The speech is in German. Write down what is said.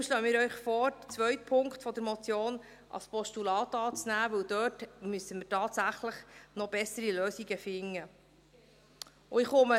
Daher schlagen wir Ihnen vor, den zweiten Punkt der Motion als Postulat anzunehmen, weil wir dort tatsächlich noch bessere Lösungen finden müssen.